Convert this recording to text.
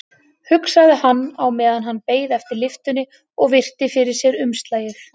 hugsaði hann á meðan hann beið eftir lyftunni og virti fyrir sér umslagið.